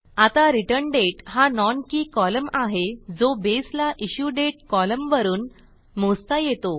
आता return date हा non keyकॉलम आहे जो बेसला इश्युडेट कॉलमवरून मोजता येतो